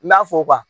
N'a fɔ